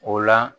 O la